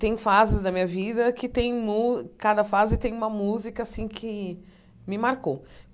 Tem fases da minha vida que têm mú cada fase tem uma música assim que me marcou.